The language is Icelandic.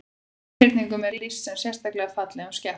Einhyrningum er lýst sem sérstaklega fallegum skepnum.